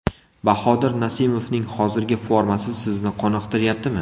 Bahodir Nasimovning hozirgi formasi sizni qoniqtiryaptimi?